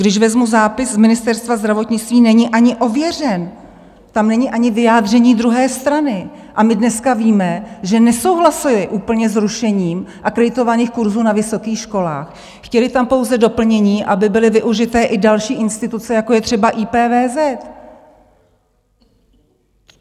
Když vezmu zápis z Ministerstva zdravotnictví, není ani ověřen, tam není ani vyjádření druhé strany, a my dneska víme, že nesouhlasili úplně s rušením akreditovaných kurzů na vysokých školách, chtěli tam pouze doplnění, aby byly využity i další instituce, jako je třeba IPVZ.